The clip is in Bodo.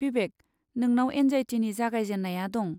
बिबेक, नोंनाव एंजाइटिनि जागायजेन्नाया दं।